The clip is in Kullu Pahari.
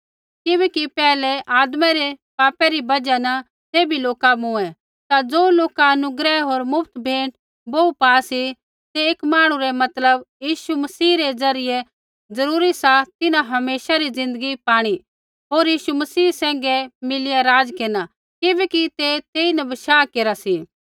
किबैकि पैहलै आदमा रै पापा री बजहा न सैभी लोका मूँऐ ता ज़ो लोका अनुग्रह होर मुफ्त भेंट बोहू पा सी तै एक मांहणु रै मतलब यीशु मसीह रै ज़रियै जरूरी सा तिन्हां हमेशा री ज़िन्दगी पाणी होर यीशु मसीह सैंघै मिलिया राज केरना किबैकि तै तेइन बशाह केरा सी